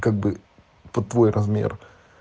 как бы под твой размер